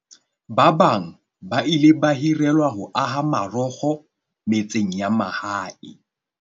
Ba bang ba ile ba hirelwa ho aha marokgo metseng ya mahae.